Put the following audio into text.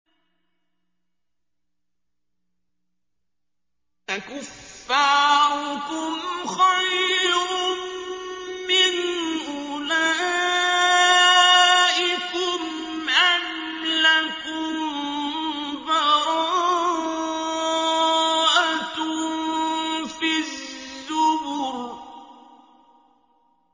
أَكُفَّارُكُمْ خَيْرٌ مِّنْ أُولَٰئِكُمْ أَمْ لَكُم بَرَاءَةٌ فِي الزُّبُرِ